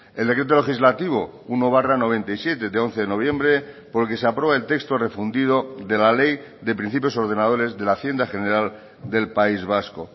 el decreto legislativo uno barra noventa y siete de once de noviembre por el que se aprueba el texto refundido de la ley de principios ordenadores de la hacienda general del país vasco